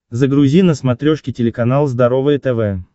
загрузи на смотрешке телеканал здоровое тв